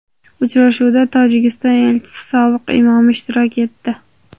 Uchrashuvda Tojikiston elchisi Sodiq Imomi ishtirok etdi.